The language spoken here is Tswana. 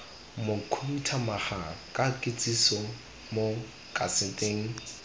mokhuduthamaga ka kitsiso mo kaseteng